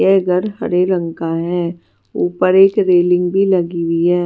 ये घर हरे रंग का है ऊपर एक रेलिंग भी लगी हुई है।